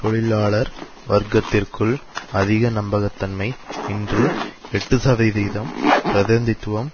தொழிலாளர் வர்க்கத்திற்குள் அதிக நம்பகத்தன்மை இன்று எட்டு சதவீதம் பதிநிதித்துவம்